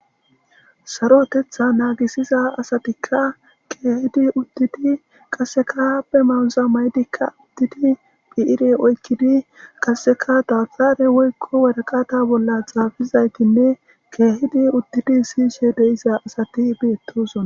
Sarotetha naagisiza asatikka kehiidi uttidi qaseka be mayoza mayidika uttidi bi'ire oykidi qasseka dabtare woykko waraqata bolla xaafizaytinne keehidi uttidi siyishe de'iza asati beetosona.